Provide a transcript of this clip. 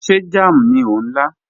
Ṣé jàm ní o n la?